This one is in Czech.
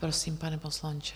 Prosím, pane poslanče.